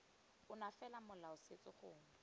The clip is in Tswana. ona fela molao setso gongwe